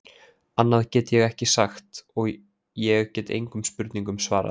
Annað get ég ekki sagt og ég get engum spurningum svarað.